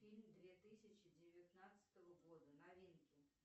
фильм две тысячи девятнадцатого года новинки